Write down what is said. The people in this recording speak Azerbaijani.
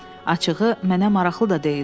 Açığı, mənə maraqlı da deyildi.